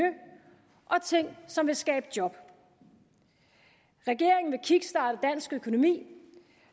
og ting som vil skabe job regeringen vil kickstarte dansk økonomi